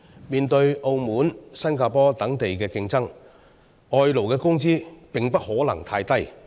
面對澳門和新加坡等地的競爭，外勞的工資也不能太低。